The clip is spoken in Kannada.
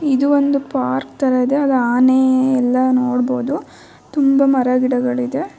ಇದು ಒಂದು ಪಾರ್ಕ್ ತರ ಇದೆ ಅದು ಆನೆ ಎಲ್ಲಾ ನೋಡ್ಬಹುದು ತುಂಬ ಮರ ಗಿಡಗಳಿದೆ.